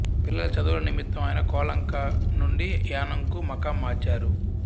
పిల్లల చదువుల నిమిత్తం ఆయన కోలంక నుండి యానాంకు మకాం మార్చారు